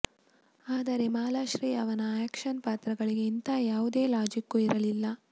ಆದರೆ ಮಾಲಾಶ್ರೀ ಅವರ ಆಕ್ಷನ್ ಪಾತ್ರಗಳಿಗೆ ಇಂಥಾ ಯಾವುದೇ ಲಾಜಿಕ್ಕು ಇರಲಿಲ್ಲ